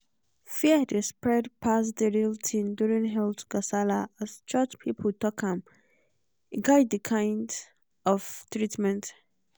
fear dey spread pass the real thing during health gasala as church people talk am e guide the kind of treatment.